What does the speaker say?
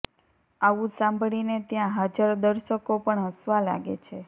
આવું સાંભળીને ત્યાં હાજર દર્સકો પણ હસવા લાગે છે